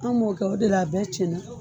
An m'o kɛ o de la a bɛɛ cɛn na.